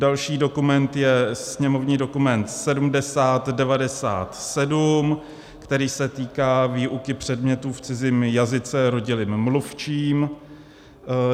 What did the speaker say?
Další dokument je sněmovní dokument 7097, který se týká výuky předmětů v cizím jazyce rodilým mluvčím.